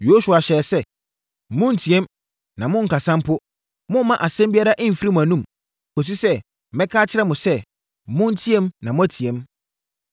Yosua hyɛɛ sɛ, “Monnteam na monnkasa mpo. Mommma asɛm biara mfiri mo anom, kɔsi sɛ mɛka akyerɛ mo sɛ monteam na moateam.”